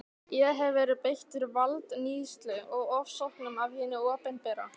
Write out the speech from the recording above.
Ég hef verið beittur valdníðslu og ofsóknum af hinu opinbera.